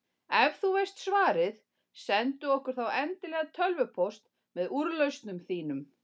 Ef þú veist svarið, sendu okkur þá endilega tölvupóst með úrlausnum þínum.